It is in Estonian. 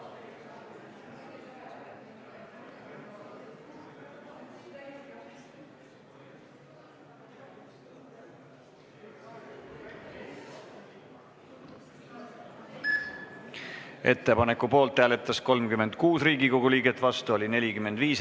Hääletustulemused Ettepaneku poolt hääletas 36 Riigikogu liiget, vastu oli 45.